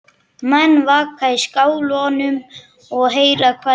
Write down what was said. Menn vaka í skálanum og heyra hvað við tölum.